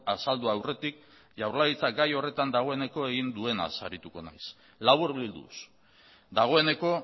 azaldu aurretik jaurlaritzak gai horretan dagoeneko egin duenaz arituko naiz laburbilduz dagoeneko